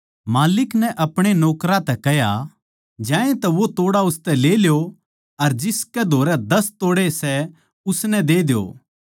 माल्लिक नै अपणे नौकरां तै कह्या ज्यातै वो तोड़ा उसतै ले ल्यो अर जिसकै धोरै दस तोड़े सै उसनै दे द्यो